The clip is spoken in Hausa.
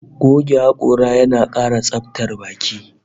Goge hakora yana kara tsabtar baki